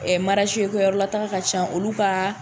Ɛ ko yɔrɔla taa ka ca olu ka